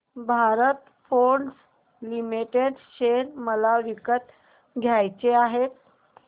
Bharat Forge limited share मला विकत घ्यायचे आहेत